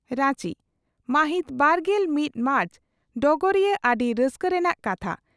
ᱨᱟᱸᱪᱤ ᱢᱟᱦᱤᱛ ᱵᱟᱨᱜᱮᱞ ᱢᱤᱛ ᱢᱟᱨᱪ ᱰᱚᱜᱚᱨᱤᱭᱟᱹ ᱟᱹᱰᱤ ᱨᱟᱹᱥᱠᱟᱹ ᱨᱮᱱᱟᱜ ᱠᱟᱛᱷᱟ